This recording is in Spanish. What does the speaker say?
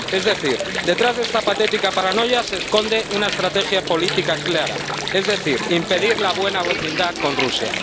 Es decir, detrás de esta patética paranoia se esconde una estrategia política clara, es decir, impedir la buena vecindad con Rusia.